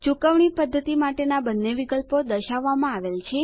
ચુકવણી પદ્ધતિ માટેના બંને વિકલ્પો દર્શાવવામાં આવેલ છે